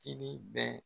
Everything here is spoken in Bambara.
Kini bɛ